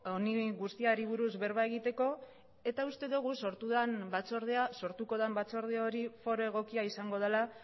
honi guztiari buruz berba egiteko eta uste dugu sortuko den batzorde hori foro egokia izango dela